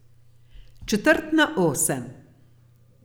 Četrt na osem.